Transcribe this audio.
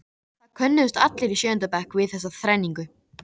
Það könnuðust allir í sjöunda bekk við þessa þrenningu.